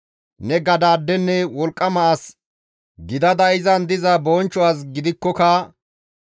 Ne gadaadenne wolqqama as gidada izan diza bonchcho as gidikkoka,